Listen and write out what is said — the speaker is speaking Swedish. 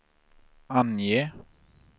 ange